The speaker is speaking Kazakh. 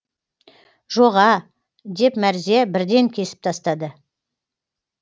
жоға деп мәрзия бірден кесіп тастады